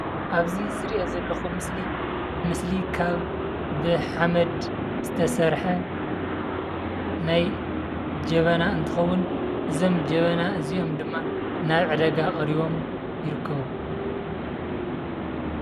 ኣብዚ ዝሪኦ ዘለኹ ምስሊ ምስሊ ካብ ብሓመድ ዝተሰርሐ ናይ ጀበና እንትኸውን እዞም ጀበና እዚኦም ድማ ናብ ዕዳጋ ቀሪቦም ይርከቡ።